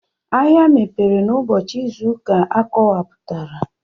Ahịa mepere n'ụbọchị izu ụka akọwapụtara.